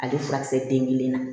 Ale furakisɛ den kelen na